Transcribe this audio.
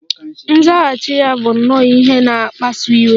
Nzaghachi ya bụ nnọọ ihe na-akpasu iwe